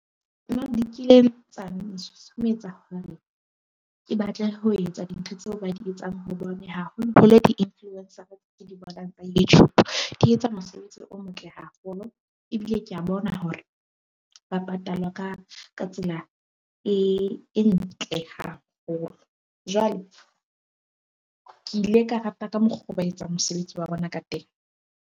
Di kileng tsa nsusumetsa hore ke batle ho etsa dintho tseo ba di etsang hobane haholo-holo di-influencer-a tsa di etsa mosebetsi o motle haholo ebile ke a bona hore ba patalwa ka ka tsela e ntle haholo. Jwale ke ile ka rata ka mokgwa oo ba etsang mosebetsi wa bona ka teng.